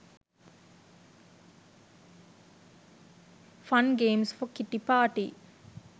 fun games for kitty party